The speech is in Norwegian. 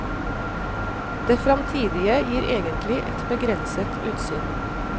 Det fremtidige gir egentlig et begrenset utsyn.